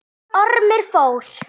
Ormur fór.